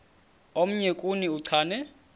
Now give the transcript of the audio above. omnye kuni uchane